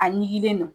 A ɲiginlen don